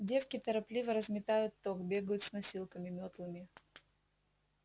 девки торопливо разметают ток бегают с носилками мётлами